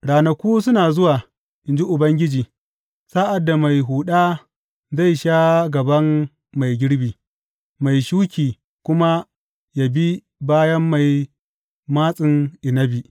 Ranaku suna zuwa, in ji Ubangiji, sa’ad da mai huɗa zai sha gaban mai girbi mai shuki kuma yă bi bayan mai matsin inabi.